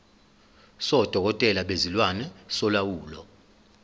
sodokotela bezilwane solawulo